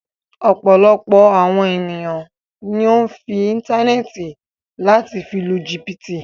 Ọ̀pọ̀lọpọ̀ awọn èniyàn ǹ lo íńtánẹ́ẹ̀tì lati fi lu jìbìtì